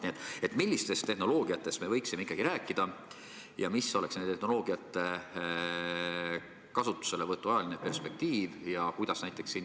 Nii et millistest tehnoloogiatest me võiksime ikkagi rääkida ja mis oleks nende tehnoloogiate kasutuselevõtu ajaline perspektiiv?